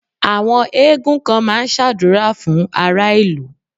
Àwọn eégún kan ma ń ṣàdúrà fún ará ìlú.